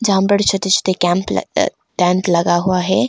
यहाँ पर छोटे छोटे कैंप अ टेंट लगा हुआ है।